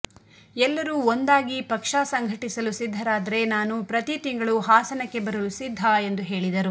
ಎಲ್ಲರೂ ಒಂದಾಗಿ ಪಕ್ಷ ಸಂಘಟಿಸಲು ಸಿದ್ಧರಾದರೆ ನಾನು ಪ್ರತಿ ತಿಂಗಳೂ ಹಾಸನಕ್ಕೆ ಬರಲು ಸಿದ್ಧ ಎಂದು ಹೇಳಿದರು